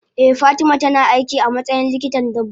eh fatima tana aiki amatsayin likitan dabbobi.